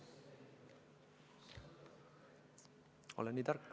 Olen nii tark.